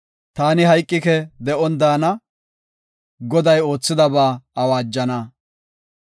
Taani hayqike; de7on daana; Goday oothidaba awaajana.